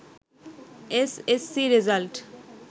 S S C result